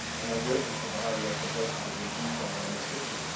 I have written to the High Representative in detail on this issue.